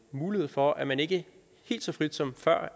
mulighed for at man ikke helt så frit som før